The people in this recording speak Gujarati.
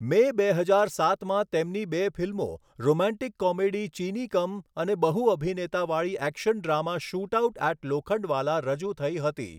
મે, બે હજાર સાતમાં તેમની બે ફિલ્મો, રોમેન્ટિક કોમેડી ચીનિ કમ અને બહુ અભિનેતાવાળી action drama shootout at Lokhandwala રજૂ થઈ હતી.